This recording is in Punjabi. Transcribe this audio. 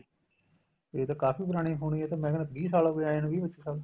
ਇਹ ਤਾਂ ਕਾਫੀ ਪੁਰਾਣੀ ਹੋਣਗੀਆਂ ਇਹ ਤਾਂ ਮੈਂ ਕਹਿਣਾ ਵੀਹ ਸਾਲ ਹੋ ਗਏ ਆਏ ਨੂੰ ਵੀਹ ਪੱਚੀ ਸਾਲ